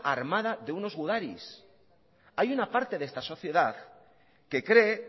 armada de unos gudaris hay una parte de esta sociedad que cree